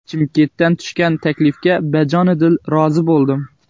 Chimkentdan tushgan taklifga bajonidil rozi bo‘ldim.